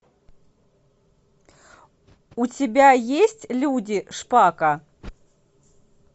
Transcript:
у тебя есть люди шпака